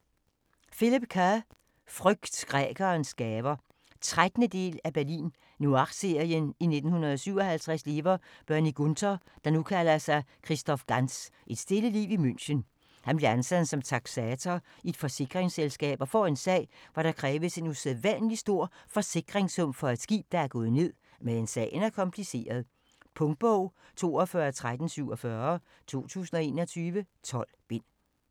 Kerr, Philip: Frygt grækeres gaver 13. del af Berlin noir serien. I 1957 lever Bernie Gunther, der nu kalder sig Christoph Ganz et stille liv i München. Han bliver ansat som taksator i et forsikringsselsskab og får en sag, hvor der kræves en usædvanlig stor forsikringssum for et skib, der er gået ned, men sagen er kompliceret. Punktbog 421347 2021. 12 bind.